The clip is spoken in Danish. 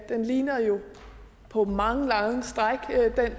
den ligner jo på mange lange stræk